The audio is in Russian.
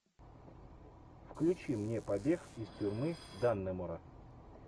включи мне побег из тюрьмы даннемора